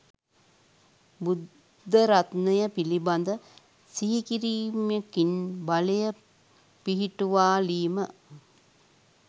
බුද්ධ රත්නය පිළිබඳ සිහි කිරීමකින් බලය පිහිටුවාලීම,